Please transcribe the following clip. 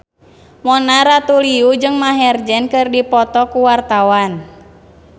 Mona Ratuliu jeung Maher Zein keur dipoto ku wartawan